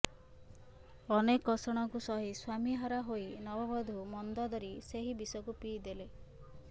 ଅନେକ କଷଣକୁ ସହି ସ୍ୱାମୀ ହରା ହୋଇ ନବବଧୂ ମନ୍ଦୋଦରୀ ସେହି ବିଷକୁ ପିଇଦେଲେ